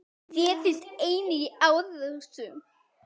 Þær finnast einnig í árósum.